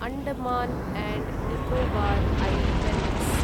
Andaman and Nicobar islands